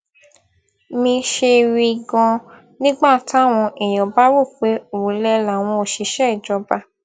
mi ṣe rí ganan nígbà táwọn èèyàn bá rò pé òlẹ làwọn òṣìṣẹ ìjọba